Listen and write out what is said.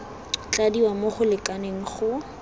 tladiwa mo go lekaneng go